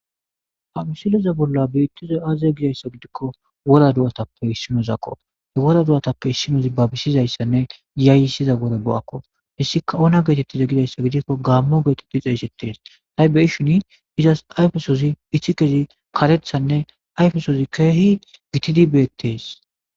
hamisileza bolla biittizay aaze gizayssa gidikko wora do7atappe issinozakko hewora do7atappe issinozi babisizayssanne yaayyisiza gore bo7akko hissika ona geetettiza gidayssa gidikko gaammo geetetti xeeshettees ta7 beyishini izas ayfesozi ichi kezi karethanne ayfesozi keehi gitatidi beettees